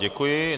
Děkuji.